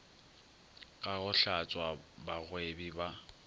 ka go hlatswa bagwebi ba